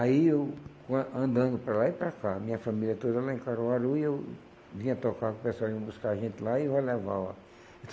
Aí eu quan andando para lá e para cá, minha família toda lá em Caruaru, e eu vinha tocar com o pessoal, eles iam buscar a gente lá e eu ia levar ela.